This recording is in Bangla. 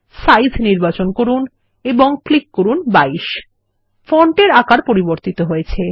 সাইজ নির্বাচন করুন এবং ক্লিক করুন ২২ ফন্টের আকার পরিবর্তিত হয়েছে